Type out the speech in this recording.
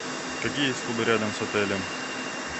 какие есть клубы рядом с отелем